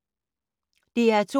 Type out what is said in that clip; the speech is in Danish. DR2